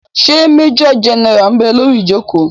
Ṣé majọ gẹ́nẹ́rà ḿ bẹ lórí ìjòkó?